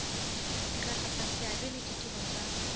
diragatsa seabe le ditiro tsa